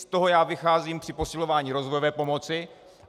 Z toho já vycházím při posilování rozvojové pomoci.